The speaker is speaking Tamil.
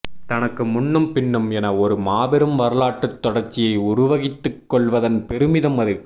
தனக்கு முன்னும்பின்னும் என ஒரு மாபெரும் வரலாற்றுத் தொடர்ச்சியை உருவகித்துக்கொள்வதன் பெருமிதம் அது